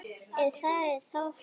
Ef það er þá hægt.